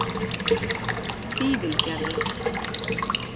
Fífilgerði